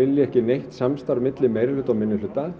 vilja ekki neitt samstarf milli meirihluta og minnihluta